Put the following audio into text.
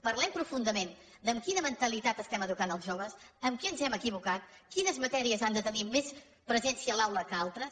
parlem profundament de amb quina mentalitat estem educant els joves amb què ens hem equivocat quines matèries han de tenir més presència a l’aula que altres